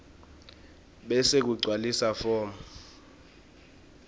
bese kugcwaliswa form